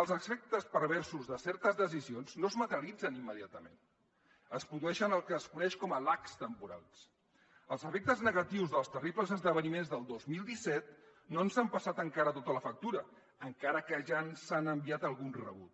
els efectes perversos de certes decisions no es materialitzen immediatament es produeix el que es coneix com a lagsnegatius dels terribles esdeveniments del dos mil disset no ens han passat encara tota la factura encara que ja ens han enviat algun rebut